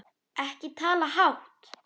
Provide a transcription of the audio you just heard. Ekki tala hátt!